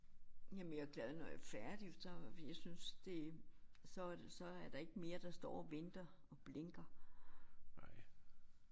Jamen jeg glad når jeg er færdig for så jeg synes det så så er der ikke mere der står og venter og blinker